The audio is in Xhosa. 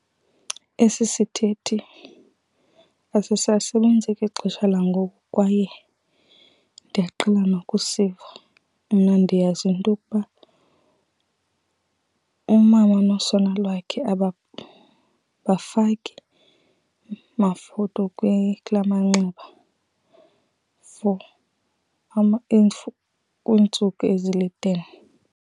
Esi sithethe asisasebenzi kwixesha langoku kwaye ndiyaqala nokusiva. Mna ndiyazi into yokuba umama nosana lwakhe abafaki mafutha kulaa manxeba for iintsuku ezili-ten.